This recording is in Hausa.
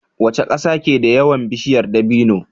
Waca ƙasa keda yawan bishiyar dabino